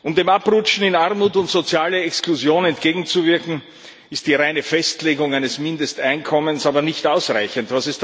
Um dem Abrutschen in Armut und soziale Exklusion entgegenzuwirken, ist die reine Festlegung eines Mindesteinkommens aber nicht ausreichend.